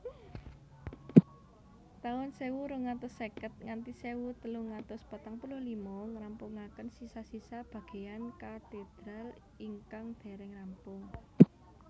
taun sewu rong atus seket nganthi sewu telung atus patang puluh lima ngrampungaken sisa sisa bageyan katedral ingkang dereng rampung